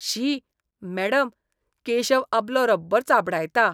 शी, madam, Keshav आपलो rubber चाबडायता.